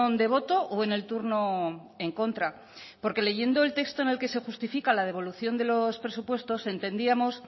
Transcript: de voto o en el turno en contra porque leyendo el texto en el que se justifica la devolución de los presupuestos entendíamos